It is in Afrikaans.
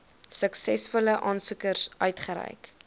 suksesvolle aansoekers uitgereik